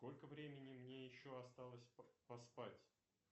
сколько времени мне еще осталось поспать